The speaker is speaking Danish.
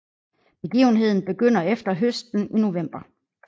Begivenheden begynder efter høsten i november